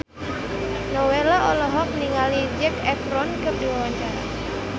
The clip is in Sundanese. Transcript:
Nowela olohok ningali Zac Efron keur diwawancara